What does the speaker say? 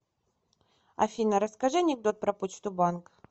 афина расскажи анекдот про почту банк